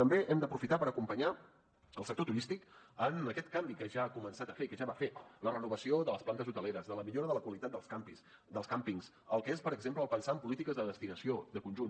també hem d’aprofitar per acompanyar el sector turístic en aquest canvi que ja ha començat a fer que ja va fer la renovació de les plantes hoteleres de la millora de la qualitat dels càmpings el que és per exemple el pensar en polítiques de destinació de conjunt